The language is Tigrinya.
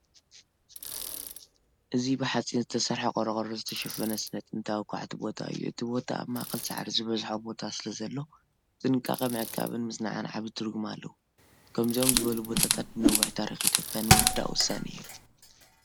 እዚ ብሓጺን ዝተሰርሐ ቆርቆሮ ዝተሸፈነ ስነ-ጥንታዊ ኳዕቲ ቦታ እዩ። እቲ ቦታ ኣብ ማእከል ሳዕሪ ዝበዝሖ ቦታ ስለዘሎ፡ ብጥንቃቐ ምዕቃብን ምጽናዕን ዓቢ ትርጉም ኣለዎ። ከምዚኦም ዝበሉ ቦታታት ንነዊሕ ታሪኽ ኢትዮጵያ ንምርዳእ ወሳኒ እዮም።